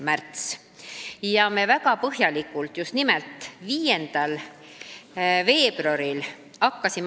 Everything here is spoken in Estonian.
Ja me hakkasime muudatusettepanekuid väga põhjalikult arutama just nimelt 5. veebruaril.